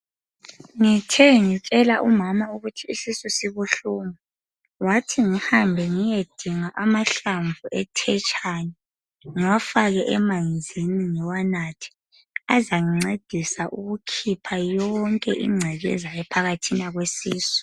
Ngithe ngitshela umama ukuthi isisu sibuhlungu wathi ngihambe ngiyedinga amahlamvu ethetshani ngiwafake emanzini ngiwanathe. Azangincedisa ukukhipha yonke ingcekeza ephakathina kwesisu.